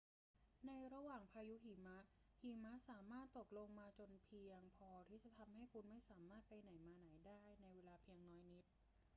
ในระหว่างพายุหิมะ หิมะสามารถตกลงมาจนเพียงพอที่จะทำให้คุณไม่สามารถไปไหนมาไหนได้ในเวลาเพียงน้อยนิด